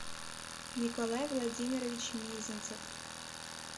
николай владимирович мезенцев